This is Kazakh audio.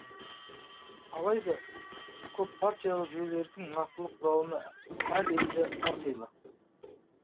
алайда көппартиялық жүйелердің нақтылы құралымы әр елде әрқилы